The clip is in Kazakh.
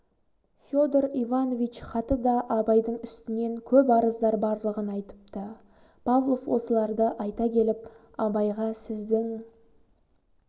федор иванович хаты да абайдың үстінен көп арыздар барлығын айтыпты павлов осыларды айта келіп абайға сіздің